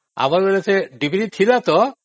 ଆମର ବେଳେ ସେ ଡ଼ିବିରି ଥିଲା ତ